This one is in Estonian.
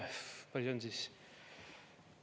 Kui palju see on siis?